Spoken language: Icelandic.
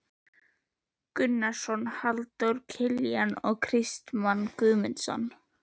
Gunnarsson, Halldór Kiljan og Kristmann Guðmundsson.